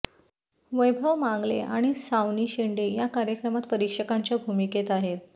वैभव मांगले आणि सावनी शेंडे या कार्यक्रमात परीक्षकांच्या भूमिकेत आहेत